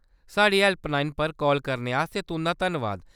साढ़ी हैल्पलाइन पर काल करने आस्तै तुंʼदा धन्नबाद।